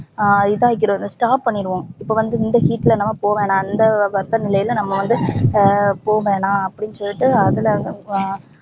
ஆஹ் stop பண்ணிடுவோம் இப்ப இந்த heat ல நம்ப போவவேண்டா இந்த வெப்பநிலையில நம்ப வந்து ஹம் போவேணா அப்டின்னு சொல்லிடு அதுலஅஹ்